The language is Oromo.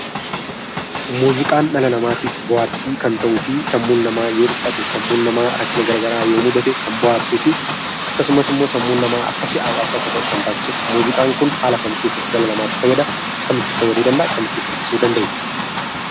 Muuziqaan dhala namaatiif bohaartii kan ta'uu fi sammuu namaa yoo dhiphatee fi rakkate kan bohaarsuu fi akkasumas immoo sammuun namaa akka si'aahuu fi kaka'u kan taasisudha. Muuziqaan kun haala kam keessatti dhala namaatiif fayyada? Akkamittis fayyaduu danda'a? Akkamittis ibsuu dandeenya?